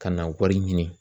Ka na wari ɲini